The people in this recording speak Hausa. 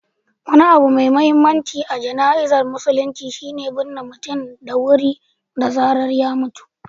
Wani abu mai mahimmanci a jana'izar musulunci shi ne binne mutum da wuri da zarar ya mutu.